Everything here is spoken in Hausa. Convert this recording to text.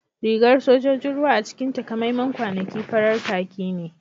Rigar sojojin ruwa a cikin takamaiman kwanaki farar kakki ne